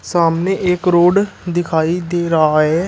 सामने एक रोड दिखाई दे रहा है।